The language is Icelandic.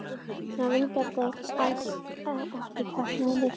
Svona vingjarnleg sem alls ekki táknaði neitt.